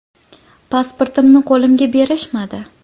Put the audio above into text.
Pasportimni qo‘limga berishmadi.